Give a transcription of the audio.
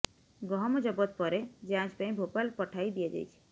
ଗହମ ଜବତ ପରେ ଯାଞ୍ଚ ପାଇଁ ଭୋପାଲ ପଠାଇ ଦିଆଯାଇଛି